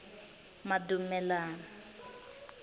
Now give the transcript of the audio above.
madumelani